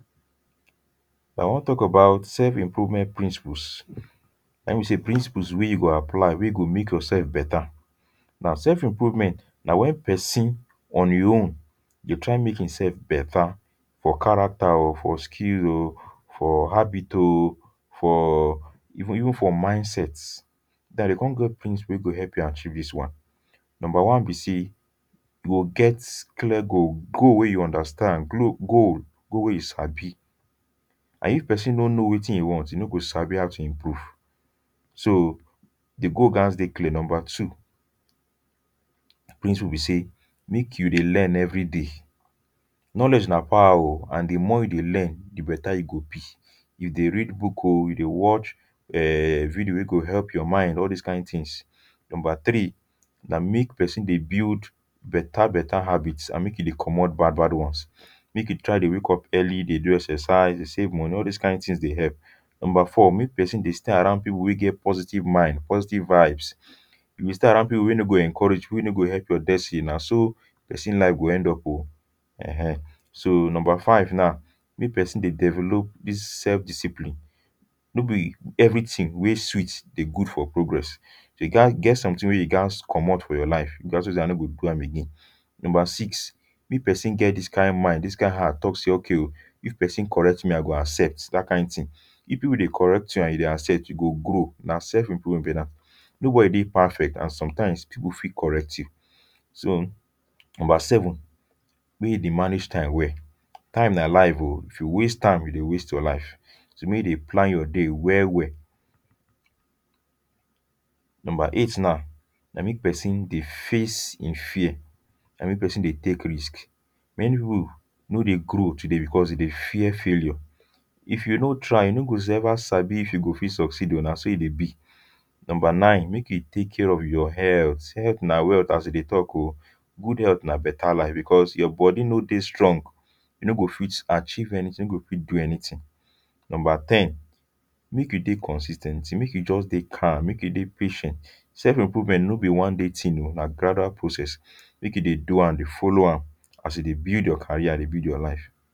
Now I wan talk about self-improvement principles. Na im be say principles wey you go apply, wey go make yourself better. Now, self-improvement na when pesin on im own dey try make imself better for character o, for skill o, for habit o, for even even for mindset. Now dem come get principle wey go help you achieve dis one. Number one be say, you go get clear goal. Goal wey you understand. Goal, goal wey you sabi. And if pesin no know wetin e want, e no go sabi how to improve. So di goal gas dey clear. Number two, di principle be say make you dey learn everyday. Knowledge na power o, and di more you learn, di better e go be. You dey read book o, you dey watch um video wey go help your mind. All these kain tins. Number three, na make pesin dey build better better habits and make e dey comot bad bad ones. Make you try dey wake up early, dey do exercise, dey save money. All these kain kain tins dey help. Number four, make pesin dey stay around people wey get positive mind, positive vibes. If you stay around people wey no go encourage, wey no go help your destiny, na so pesin life go end up o, eh eh. So, number five, na make pesin dey develop dis self-discipline. No be everything wey sweet dey good for progress. You gas, e get some tins wey you gas comot for your life say I no go do am again. Number six, if pesin get dis kain mind, dis kain heart talk say, "if pesin correct me, I go accept", dat kain tin; if people correct you and you dey accept, you go grow. Na self-improvement be dat. Nobody dey perfect and sometimes, people fit correct you. So number seven make you dey manage time well. Time na life o. If you waste time, you go waste your life; so, make you dey plan your day well well. Number eight now, na make pesin dey face im fear and make pesin dey take risks. Many people no dey grow today because dem dey fear failure. If you no try, you no go ever sabi if you go fit succeed. Na so e dey be. Number nine, make you take care of your health. Health na wealth, as dem dey talk o. Good health na better life because your body no dey strong you no go fit achieve anything, you no go fit do anything. Number ten, make you dey consis ten t, make you just dey calm. Make you dey patient. Self-improvement no be one day tin o, na gradual process.. Make you dey do am, dey follow am, as you dey build your career, dey build your life